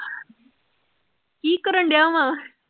ਕਿ ਕਰਨ ਡਿਆ ਵਾਂ?